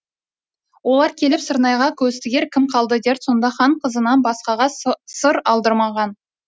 олар келіп сырнайға көз тігер кім қылды дер сонда хан қызынан басқаға сыр алдырмағын